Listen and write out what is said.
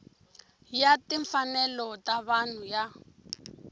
ya timfanelo ta vanhu ya